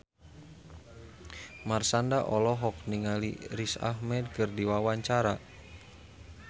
Marshanda olohok ningali Riz Ahmed keur diwawancara